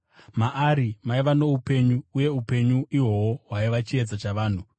Maari maiva noupenyu, uye upenyu ihwohwo hwaiva chiedza chavanhu.